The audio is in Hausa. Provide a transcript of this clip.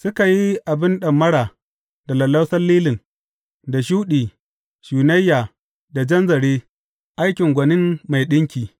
Suka yi abin ɗamara da lallausan lilin da shuɗi, shunayya da jan zare, aikin gwanin mai ɗinki,